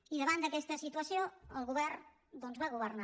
i davant d’aquesta situació el govern doncs va governar